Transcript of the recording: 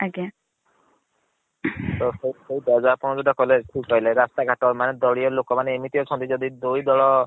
ଆଜ୍ଞା। ତ ସେଇ କଥା ଆପଣ ଯୋଉଟା କହିଲେ ଠିକ କହିଲେ ରାସ୍ତା ଘାଟ ମାନେ ଦଲିଅ ଲୋକ ମାନେ ଏମିତି ଅଛନ୍ତି ଯଦି ଦୁଇ ଦଳ